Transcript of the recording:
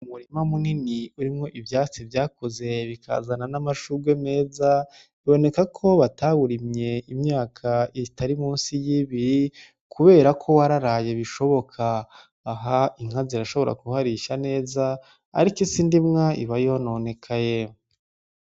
Umurima munini urimwo ivyatsi vyakuze bikazana n'amashugwe meza, biboneka ko batawurimye imyaka itari musi y'ibiri, kubera ko wararaye bishoboka. Aha inka zirashobora kuharisha neza ariko isi ndimwa iba yononekaye.